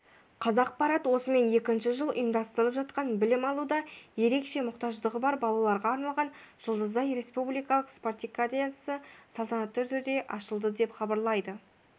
қазақпарат осымен екінші жыл ұйымдастырылып жатқан білім алуда ерекше мұқтаждығы бар балаларға арналған жұлдызай республикалық спартакиадасы салтанатты түрде ашылды деп хабарлайды